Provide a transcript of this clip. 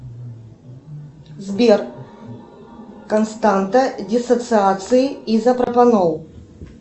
сбер константа диссоциации изопропанол